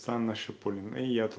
анна шипулина